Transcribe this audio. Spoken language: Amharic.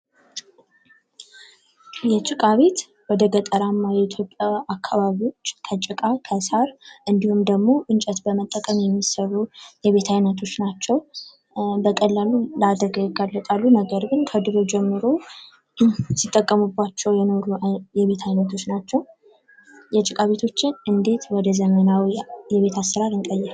የጭቃ ቤት ወደገጠራማው የኢትዮጵያ አካባቢዎች ከጭቃ፤ ከሳር እንዲሁም እንጨት በመጠቀም የሚሰሩ የቤት አይነቶች ናቸው። በቀላሉ ለአደጋ ይጋለጣሉ፤ ነገር ግን ከድሮ ጀምሮ ሲጠቀሙባቸው የኖሩ የቤት አይነቶች ናቸው። የጭቃ ቤቶችን እንዴት ወደዘመናዊ የቤት አሰራር እንቀይር?